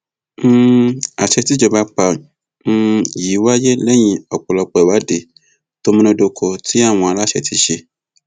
um àṣẹ tí ìjọba pa um yìí wáyé lẹyìn ọpọlọpọ ìwádìí tó múnádóko tí àwọn aláṣẹ ti ṣe